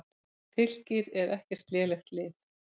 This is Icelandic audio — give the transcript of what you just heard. Fylkir er ekkert lélegt lið.